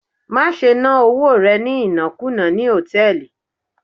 Má ṣe ná owó rẹ̀ ní ìnákùná ní hòtẹ́ẹ̀lì